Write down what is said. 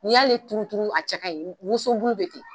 N y'ale turuturu a cɛ ka ɲi woso bulu be ten